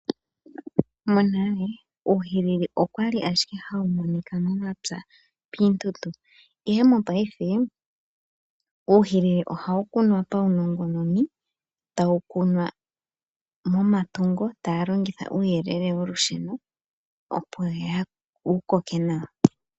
Monale uuhilili okwali ashike hawu monika momapya piituntu, ihe mopaife uuhilili ohawu kunwa paunongononi tawu kunwa momatungo taya longitha uuyelele wolusheno opo wu koke nawa.